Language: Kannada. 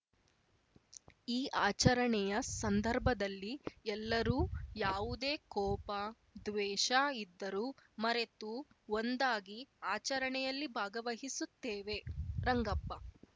ಈ ಆಚರಣೆಯ ಸಂದರ್ಭದಲ್ಲಿ ಎಲ್ಲರೂ ಯಾವುದೇ ಕೋಪ ದ್ವೇಷ ಇದ್ದರು ಮರೆತು ಒಂದಾಗಿ ಆಚರಣೆಯಲ್ಲಿ ಭಾಗವಹಿಸುತ್ತೇವೆ ರಂಗಪ್ಪ